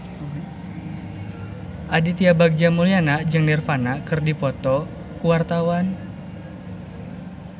Aditya Bagja Mulyana jeung Nirvana keur dipoto ku wartawan